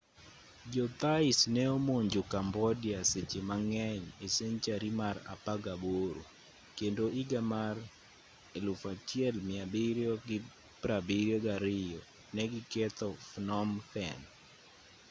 jo thais ne omonjo cambodia seche mang'eny e senchari mar apagaboro kendo iga mar 1772 ne gi ketho phnom phen